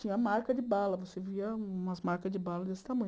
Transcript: Tinha marca de bala, você via umas marcas de bala desse tamanho.